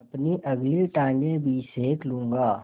अपनी अगली टाँगें भी सेक लूँगा